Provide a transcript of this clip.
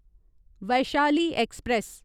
Vaishali express